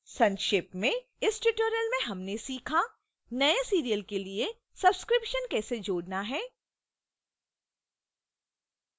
संक्षेप में इस tutorial में हमने सीखा